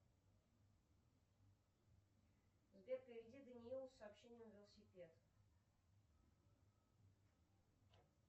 сбер переведи даниилу с сообщением велосипед